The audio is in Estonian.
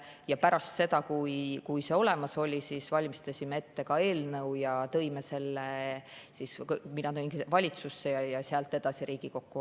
Ja pärast seda, kui see olemas oli, valmistasime ette ka eelnõu ja tõime selle, mina tõin valitsusse ja sealt edasi tuli see Riigikokku.